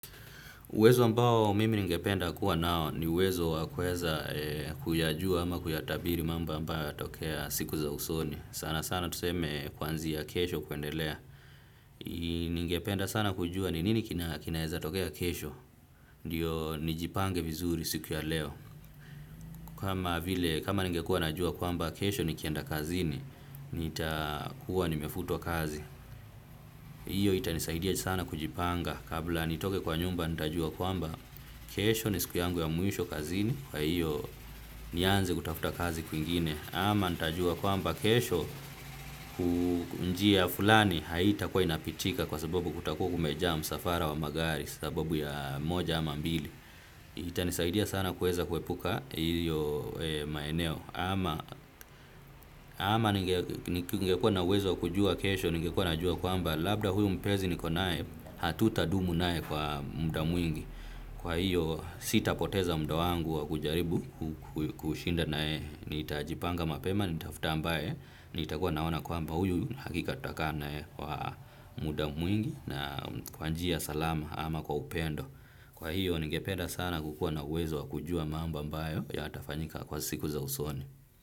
Uwezo ambao mimi ningependa kuwa nao ni uwezo wa kuweza kuyajua ama kuyatabiri mambo ambayo yatatokea siku za usoni. Sana sana tuseme kwanzia kesho kuendelea. Ningependa sana kujua ni nini kinaweza tokea kesho. Ndiyo nijipange vizuri siku ya leo. Kama ningekua najua kwamba kesho nikienda kazini, nitakuwa nimefutwa kazi. Hiyo itanisahidia sana kujipanga kabla nitoke kwa nyumba nitajua kwamba kesho ni siku yangu ya mwisho kazini kwa hiyo nianze kutafuta kazi kwingine ama nitajua kwamba kesho njia fulani haitakuwa inapitika kwa sabobu kutakuwa kumejaa msafara wa magari kwa sababu ya moja ama mbili. Itanisaidia sana kuweza kuepuka hiyo maeneo. Ama ningekuwa na uwezo kujua kesho, ningekuwa najua kwamba labda huyu mpenzi niko naye, hatutadumu naye kwa muda mwingi. Kwa hiyo sitapoteza muda wangu wa kujaribu kushinda naye. Nitajipanga mapema, nitafuta ambaye, nitakuwa naona kwamba huyu hakika tutakaa naye kwa muda mwingi na kwa njia salama ama kwa upendo. Kwa hiyo, ningepeda sana kukuwa na uwezo wa kujua mambo ambayo yatafanyika kwa siku za usoni.